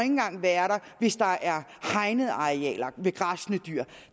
være der hvis der er hegnede arealer med græssende dyr